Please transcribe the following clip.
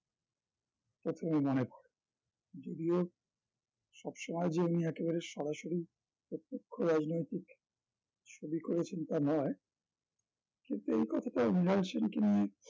প্রথমেই মনে পড়ে যদিও সবসময় যে উনি একেবারে সরাসরি প্রত্যক্ষ রাজনৈতিক ছবি করেছেন তা নয় কিন্তু এই কথাটা মৃনাল সেন কে নিয়ে